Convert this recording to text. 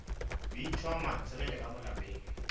bintšhwa mantshegele ka mo lapeng